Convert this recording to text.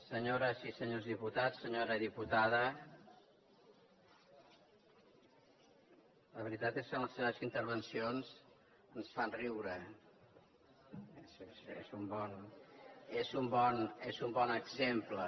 senyores i senyors diputats senyora diputada la veritat és que les seves intervencions ens fan riure és un bon exemple